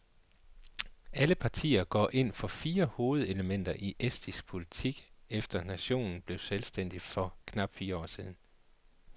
Alle partier går ind for de fire hovedelementer i estisk politik efter nationen blev selvstændig for knap fire år siden.